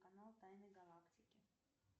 канал тайны галактики